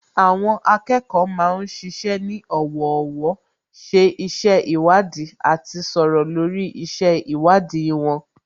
Àwọn akẹ́kọ̀ọ́ ma ń ṣiṣẹ́ ní ọ̀wọ̀ọ̀wọ́, ṣe iṣẹ́ ìwádìí àti sọ̀rọ̀ lórí iṣẹ́ ìwádìí wọn